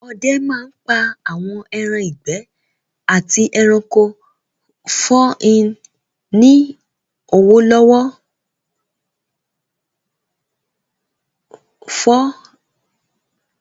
Àwọn ọdẹ máa n pa àwọn ẹran ìgbẹ́ àti ẹranko for ní ní owó lọ́wọ́